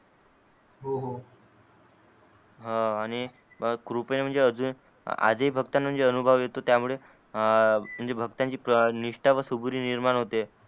हा आणि कृपय म्हणजे अजून आज ही भक्ताना अनुभव येतो त्या मूळे भक्तांची निष्टा व सबुरी निर्माण होते.